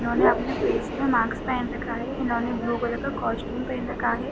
इन्होने अपने फेस पे मास्क पहेन रखा हैइन्होने ब्लू कलर का कॉस्ट्यूम पहेन रखा है।